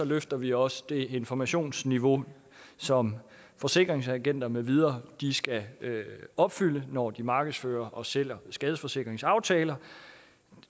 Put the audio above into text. løfter vi også det informationsniveau som forsikringsagenter med videre skal opfylde når de markedsfører og sælger skadesforsikringsaftaler